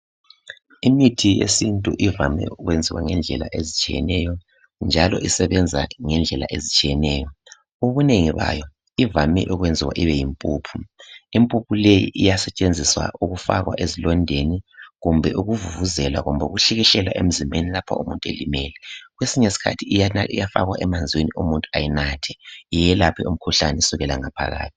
Imithi yesintu ivame ukwenziwa ngendlela ezitshiyeneyo njalo isebenza ngendlela ezitshiyeneyo. Ubunengi bayo ijayele ukwenziwa ibeyimpuphu. Impuphu leyi iyasetshenziswa ukufakwa ezilondeni kumbe ukuvuvuzela kumbe ukuhlikihlela emzimbeni lapho umuntu elimele. Kwesinye isikhathi iyafakwa emanzini umuntu ayinathe, iyelaphe umkhuhlane kusukela ngaphakathi.